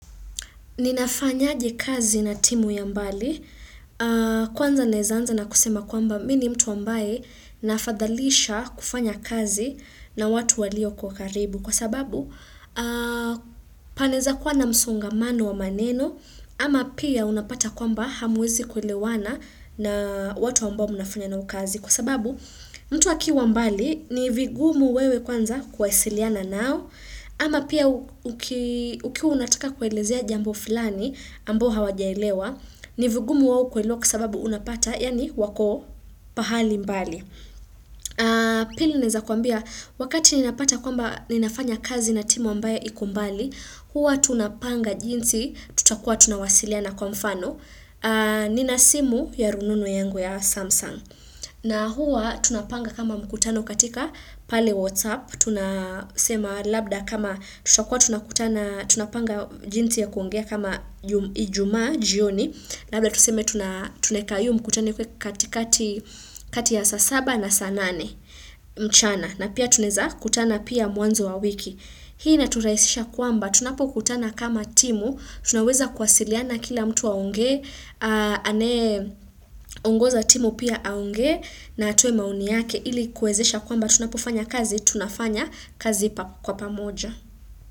Ninafanyaje kazi na timu ya mbali? Kwanza naeza anza na kusema kwamba mimi ni mtu ambaye, naafadhalisha kufanya kazi na watu walio kwa karibu kwa sababu. Panaeza kuwa na msongamano wa maneno ama pia unapata kwamba hamwezi kuelewana na watu ambao mnafanya nao kazi. Kwa sababu mtu akiwa mbali ni vigumu wewe kwanza kuwasiliana nao. Ama pia ukiwa unataka kuelezea jambo fulani, ambao hawajaelewa, ni vigumu wao kuelewa kwa sababu unapata, yaani wako pahali mbali. Pili, naeza kuambia, wakati ninapata kwamba ninafanya kazi na timu ambayo iko mbali, huwa tunapanga jinsi, tutakuwa tunawasiliana kwa mfano, nina simu ya rununu yangu ya Samsung. Na huwa tunapanga kama mkutano katika pale WhatsApp, tunasema labda kama tutakuwa tunapanga jinsi ya kuongea kama ijumaa jioni, labda tuseme. Tunaeka iyo mkutano ikuwe katika kati ya saa saba na saa nane mchana na pia tunaeza kutana pia mwanzo wa wiki. Hii inaturahisisha kwamba, tunapokutana kama timu, tunaweza kuwasiliana kila mtu aonge, anayeongoza timu pia aongee, na atoe maoni yake ili kuwezesha kwamba tunapofanya kazi, tunafanya kazi kwa pamoja.